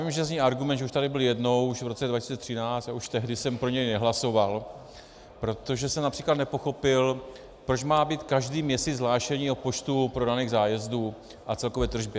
Vím, že zní argument, že už tady byl jednou, už v roce 2013, a už tehdy jsem pro něj nehlasoval, protože jsem například nepochopil, proč má být každý měsíc hlášení o počtu prodaných zájezdů a celkové tržbě.